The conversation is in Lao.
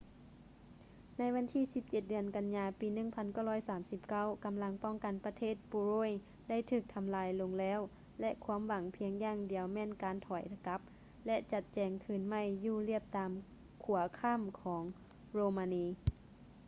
ໃນວັນທີ 17 ເດືອນ ກັນຍາ ປີ 1939 ກຳລັງປ້ອງກັນປະເທດໂປໂລຍໄດ້ຖືກທຳລາຍລົງແລ້ວ ແລະ ຄວາມຫວັງພຽງຢ່າງດຽວແມ່ນການຖອຍກັບ ແລະ ຈັດແຈງຄືນໃໝ່ຢູ່ລຽບຕາມຂົວຂ້າມຂອງໂຣມານີ